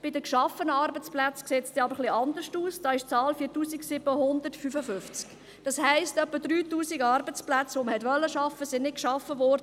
Bei den Arbeitsplätzen steht, dass man 7961 Arbeitsplätze zu schaffen geplant habe.